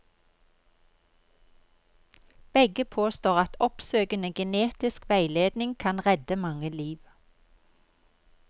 Begge påstår at oppsøkende genetisk veiledning kan redde mange liv.